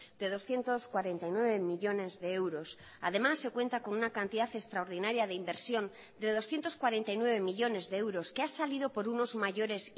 de doscientos cuarenta y nueve millónes de euros además se cuenta con una cantidad extraordinaria de inversión de doscientos cuarenta y nueve millónes de euros que ha salido por unos mayores